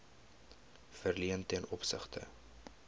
verleen ten opsigte